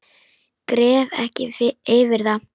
Gref ekki yfir það.